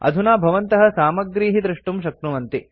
अधुना भवन्तः सामग्रीः द्रष्टुं शक्नुवन्ति